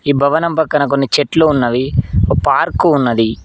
ఈ భవనం పక్కన కొన్ని చెట్లు ఉన్నవి ఒక పార్కు ఉన్నది.